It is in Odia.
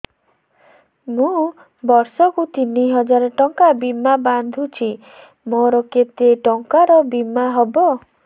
ମୁ ବର୍ଷ କୁ ତିନି ହଜାର ଟଙ୍କା ବୀମା ବାନ୍ଧୁଛି ମୋର କେତେ ଟଙ୍କାର ବୀମା ହବ